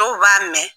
Dɔw b'a mɛn